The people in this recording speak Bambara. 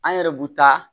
An yɛrɛ bu taa